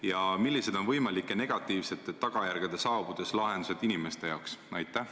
Ja millised on võimalike negatiivsete tagajärgede saabudes lahendused inimeste jaoks?